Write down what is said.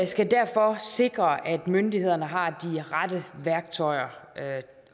skal derfor sikre at myndighederne har de rette værktøjer